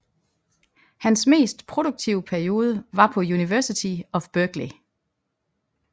Hans mest produktive periode var på University of Berkeley